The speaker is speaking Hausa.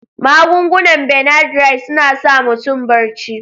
Magungunan Benadryl suna sa mutum barci.